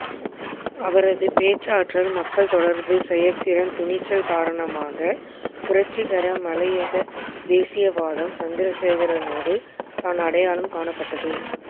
அவரது பேச்சாற்றல் மக்கள் தொடர்பு செயற்திறன் துணிச்சல் காரணமாக புரட்சிகர மலையக தேசியவாதம் சந்திரசேகரனோடுதான் அடையாளம் காணப்பட்டது